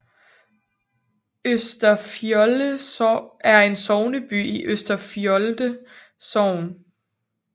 Østerfjolde er sogneby i Østerfjolde Sogn